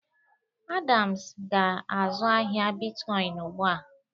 Adams ga-azụ ahịa bitkọn ugbụ a.